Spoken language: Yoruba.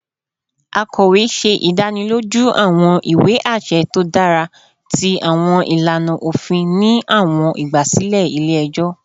Akọwe ṣe idaniloju awọn iwe aṣẹ to dara ti awọn ilana ofin ni awọn igbasilẹ ile-ẹjọ